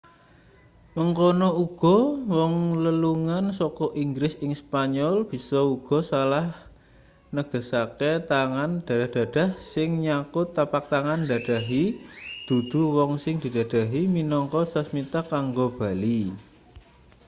mangkono uga wong lelungan saka inggris ing spanyol bisa uga salah negesake tangan dadah-dadah sing nyangkut tapak tangan ndadahi dudu wong sing didadahi minangka sasmita kanggo bali